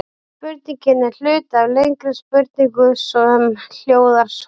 Spurningin er hluti af lengri spurningu sem hljóðar svona: